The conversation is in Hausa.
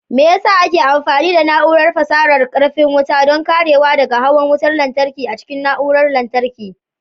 Me yasa ake amfani da Na'urar fasarar karfin wuta don karewa daga hawan wutar lantarki a cikin na'urorin lantarki?